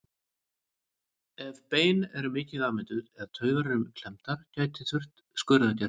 Ef bein eru mikið afmynduð eða taugar eru klemmdar gæti þurft skurðaðgerð.